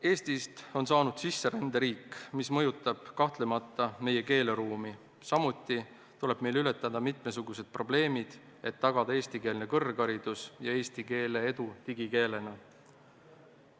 Eestist on saanud sisseränderiik, mis mõjutab kahtlemata meie keeleruumi, samuti tuleb meil ületada mitmesugused probleemid, et tagada eestikeelne kõrgharidus ja eesti keele edu digikeelena.